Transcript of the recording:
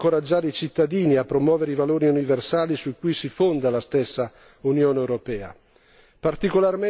È necessario inoltre incoraggiare i cittadini a promuovere i valori universali su cui si fonda la stessa Unione europea.